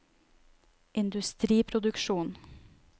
industriproduksjon